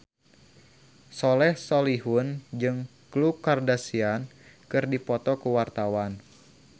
Soleh Solihun jeung Khloe Kardashian keur dipoto ku wartawan